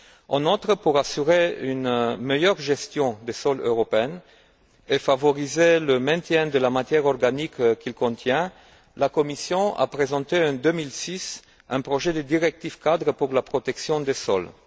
En outre, pour assurer une meilleure gestion des sols européens et favoriser le maintien de la matière organique qu'ils contiennent, la Commission a présenté, en 2006, un projet de directive cadre pour la protection des sols.